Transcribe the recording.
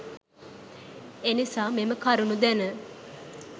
එනිසා මෙම කරුණු දැන